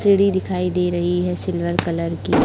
सीढ़ी दिखाई दे रही है सिल्वर कलर की।